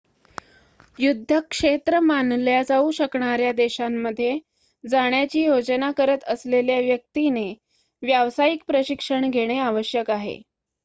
युद्धक्षेत्र मानल्या जाऊ शकणाऱ्या देशामध्ये जाण्याची योजना करत असलेल्या व्यक्तीने व्यावसायिक प्रशिक्षण घेणे आवश्यक आहे